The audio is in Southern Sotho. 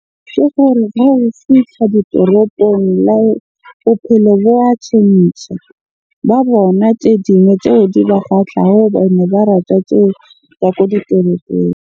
Ke gore ha o fihla ditoropong bophelo bo wa tjhentjha. Ba bona tse dingwe tseo di ba kgahlang ba rata tseo tsa ko ditoropong.